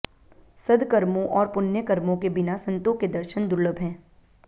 सद्कर्मों और पुण्य कर्मों के बिना संतों के दर्शन दुर्लभ हैं